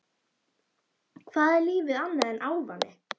Hvað er lífið annað en ávani?